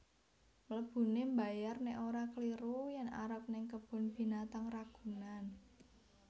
Mlebune mbayar nek ora kliru yen arep ning Kebun Binatang Ragunan